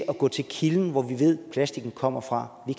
at gå til kilden hvor vi ved plastikken kommer fra